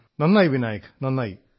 സബാഷ് Vinayak സബാഷ്